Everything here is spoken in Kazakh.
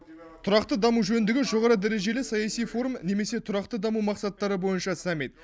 тұрақты даму жөніндегі жоғары дәрежелі саяси форум немесе тұрақты даму мақсаттары бойынша саммит